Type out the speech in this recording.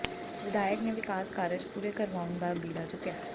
ਵਿਧਾਇਕ ਨੇ ਵਿਕਾਸ ਕਾਰਜ ਪੂਰੇ ਕਰਵਾਉਣ ਦਾ ਬੀੜਾ ਚੁੱਕਿਆ